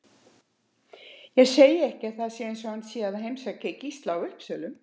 Ég segi ekki að það sé eins og hann sé að heimsækja Gísla á Uppsölum